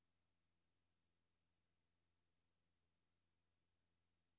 Kærlighed er livsvigtig, men den er hverken en kunst eller en videnskab.